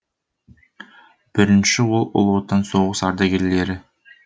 бірінші ол ұлы отан соғыс ардагерлері